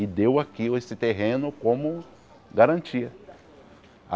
E deu aqui esse terreno como garantia.